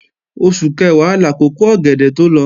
Oṣù Kẹ̀wá làkókò ọ̀gẹ̀dẹ̀ tó lọ